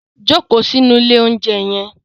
Jókòó sínú ilé-oúnjẹ yẹn